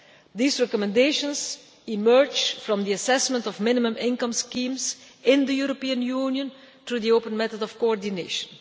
These recommendations emerge from the assessment of minimum income schemes in the European Union, through the open method of coordination.